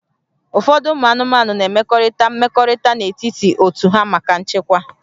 Ụfọdụ ụmụ anụmanụ na-emekọrịta mmekọrịta n'etiti otu ha maka nchekwa